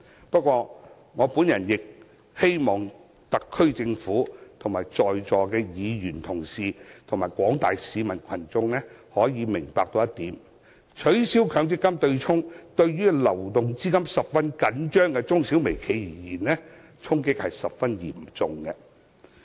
不過，我亦希望特區政府、在座各位議員及廣大市民可以明白，取消強積金對沖，對於流動資金十分緊張的中小微企而言，衝擊十分嚴重。